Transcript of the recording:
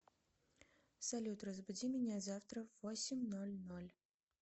салют разбуди меня завтра в восемь ноль ноль